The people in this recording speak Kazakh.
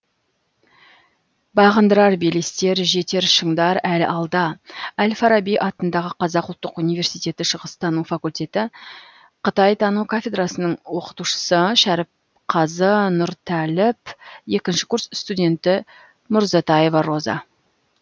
бағындырар белестер жетер шындар әлі алда әл фараби атындағы қазақ ұлттық университеті шығыстану факультеті қытайтану кафедрасының оқытушысы шәріпқазы нұртәліп екінші курс студенті мурзатаева роза